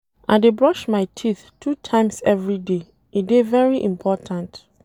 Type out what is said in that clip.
I dey brush my teeth two times everyday, e dey very important.